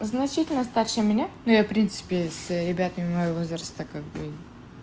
значительно старше меня но я принципе с ребятами моего возраста как бы